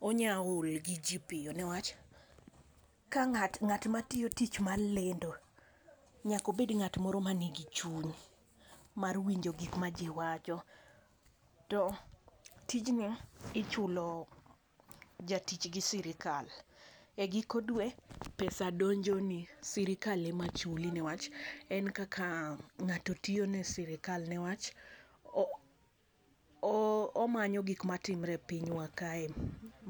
onya ol gi ji piyo ne wach ka ngat ngat ma tiyo tich mar kendo nyaka obed ngat man gi chuny mar winjo gik ma ji wacho to tijno ichulo jatich gi sirkal, e giko dwe pesa donjo ni sirkal e ma chuli ne wach en kaka ngato tiyo ne sirkal ne wach omanyo gik ma timre e pinywa kae ma.